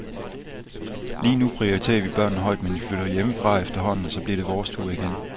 Lige nu prioriteret vi børnene højt, men de flytter jo hjemmefra efterhånden, og så bliver det vores tur igen.